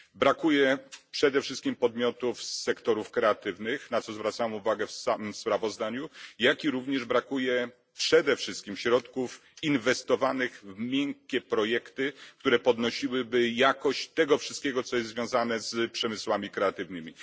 Brakuje przede wszystkim podmiotów z sektorów kreatywnych, na co zwracam uwagę w samym sprawozdaniu, jak również, przede wszystkim, środków inwestowanych w miękkie projekty, które podnosiłyby jakość tego wszystkiego, co jest związane z przemysłami kreatywnymi.